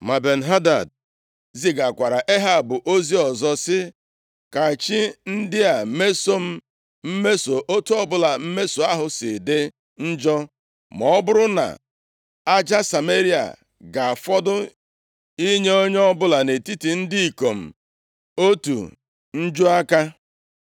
Ma Ben-Hadad zigakwaara Ehab ozi ọzọ sị, “Ka chi ndị a mesoo m mmeso, + 20:10 \+xt 1Ez 19:2; 2Ez 6:31\+xt* otu ọbụla mmeso ahụ si dị njọ, ma ọ bụrụ na aja Sameria ga-afọdụ inye onye ọbụla nʼetiti ndị ikom m otu njuaka.”